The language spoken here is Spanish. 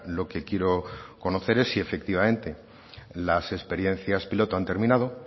lo que quiero conocer es si efectivamente las experiencias piloto han terminado